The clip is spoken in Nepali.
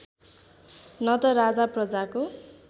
न त राजा प्रजाको